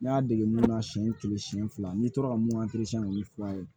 Ne y'a dege mun na siɲɛ kelen siɲɛ fila n'i tora ka mun k'olu furan ye